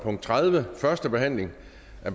forhandlingen